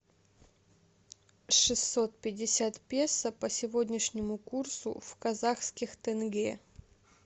шестьсот пятьдесят песо по сегодняшнему курсу в казахских тенге